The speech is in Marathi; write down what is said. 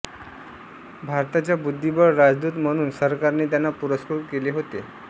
भारताच्या बुद्धिबळ राजदूत म्हणून सरकारने त्यांना पुरस्कृत केले होते